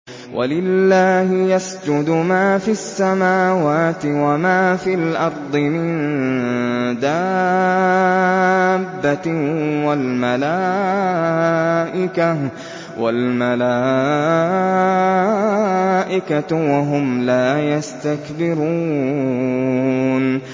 وَلِلَّهِ يَسْجُدُ مَا فِي السَّمَاوَاتِ وَمَا فِي الْأَرْضِ مِن دَابَّةٍ وَالْمَلَائِكَةُ وَهُمْ لَا يَسْتَكْبِرُونَ